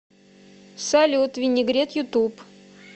салют винегрет ютуб